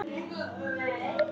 Það var mér nóg.